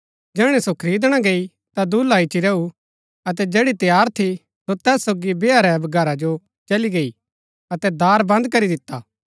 जैहणै सो खरीदणा गई ता दूल्हा ईच्ची रैऊ अतै जैड़ी तैयार थी सो तैस सोगी बैहा रै घरा जो चली गई अतै दार बन्द करी दिता